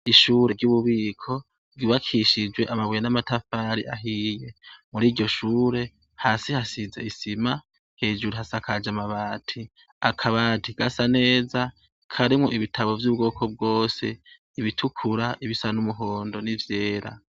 Ishire ry’ububiko ryubakishije amatafari ahiye, muriryo shure, hasi hasiz’isima, hejuru hasak’aj’amabati. Akabati gasa neza karimwo ibitabo vy’ubwoko bwose, ibitukura, ibisa n’umuhondo n’ivyera.